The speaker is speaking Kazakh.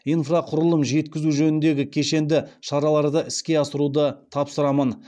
инфрақұрылым жеткізу жөніндегі кешенді шараларды іске асыруды тапсырамын